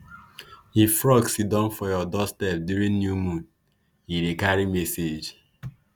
if frog siddon for your doorstep during new moon e dey carry message.